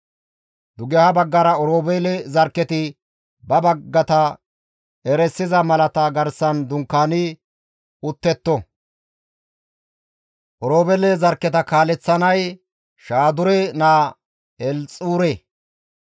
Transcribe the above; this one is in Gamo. Dugeha baggara Oroobeele zarkketi ba baggata erisiza malata garsan dunkaani uttetto; Oroobeele zarkketa kaaleththizay Shaadure naa Elxuure.